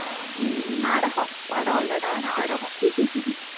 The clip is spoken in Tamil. ஆஹ் நாடகம், படம் இல்லைடா நாடகம்